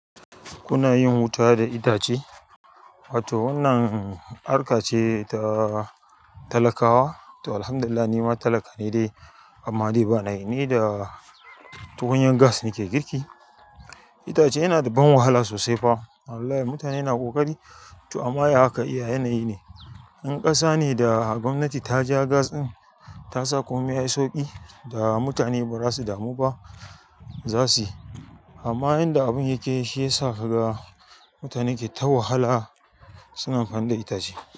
Kuna yin wuta da itace, wato wannan harka ce ta talakawa. To, alhamdulillah ni ma talaka ne dai amma dai ba na yi. Ni da tukunyar gas nake girki. Itace yana da ban wahala sosai fa. Wallahi mutane na ƙoƙari. To amma ya aka iya yanayi ne. In ƙasa ne da gwamnati ta ja gas ɗin, ta sa komai yayi sauƙi da mutane ba za su damu ba. Zasu yi. Amma yanda abun yake yi, shi ya sa kaga mutane ke ta wahala, suna kan da itace.